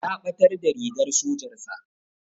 Ya ɓatar da rigar sojar sa